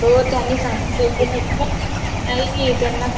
नाही त्याणी